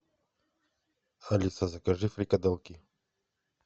алиса закажи фрикадельки